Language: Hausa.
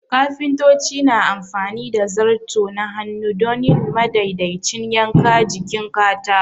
Kafintoci na amfani da zarto na hannu don yin madaidaicin yanka jikin katako.